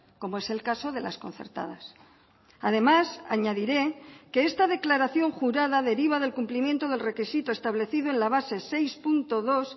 como es el caso de las concertadas además añadiré que esta declaración jurada deriva del cumplimiento del requisito establecido en la base seis punto dos